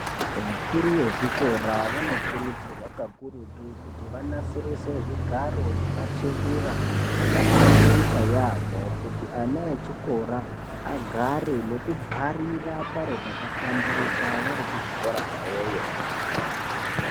Vakuru vezvikora vanokurudzirirwa kakurutu kuti vanasirise zvigaro nematebura akahlamburika yaamho, kuti ana echikora agare nekubharira paro pakahlamburika vari kuzvikora kwawoyo.